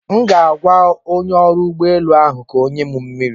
M ga-agwa onye ọrụ ụgbọelu ahụ ka ọ nye m mmiri.